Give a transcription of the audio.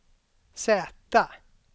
Z